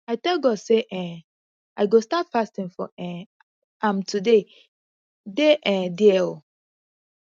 i tell god say um i go start fasting for um am today dey um there oo